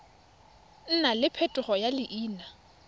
nna le phetogo ya leina